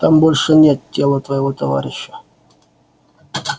там больше нет тела твоего товарища